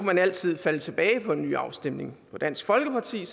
man altid falde tilbage på en ny afstemning hvor dansk folkeparti